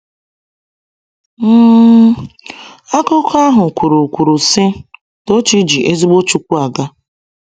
um Akụkọ ahụ kwuru kwuru sị: “Tochi ji ezigbo Chukwu aga.”